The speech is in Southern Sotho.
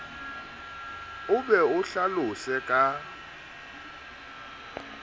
o be o hlalose ka